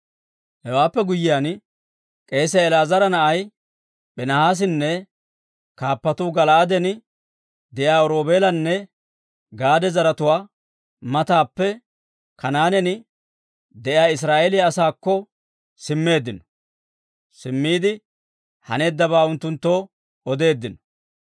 Hewaappe guyyiyaan k'eesiyaa El"aazara na'ay Piinihaasinne kaappatuu Gala'aaden de'iyaa Roobeelanne Gaade zaratuwaa matappe Kanaanen de'iyaa Israa'eeliyaa asaakko simmiide haneeddabaa unttunttoo odeeddino.